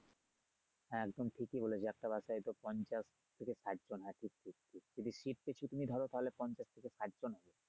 হ্যা একদমই ঠিক বলেছো একটা বাসে হয়তো পঞ্চাশ থেকে ষাটজন থাকে যদি সিট কিছু তুমি ধরো তাহলে পঞ্চাশ থেকে ষাটজন।